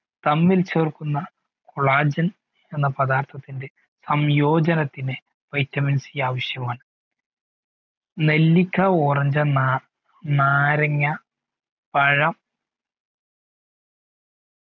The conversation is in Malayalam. തമ്മിൽ ചേർക്കുന്ന collagen എന്ന പദാർത്ഥത്തിന്റെ സംയോജനത്തിന് vitamin C ആവിശ്യമാണ് നെല്ലിക്ക ഓറഞ്ച് നാരങ്ങാ പഴം